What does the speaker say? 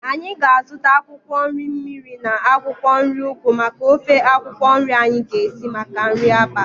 Anyị ga-azuta akwụkwọ nri mmiri na akwụkwọ nri ugu maka ofe akwụkwọ nri anyi ga-esi maka nri abalị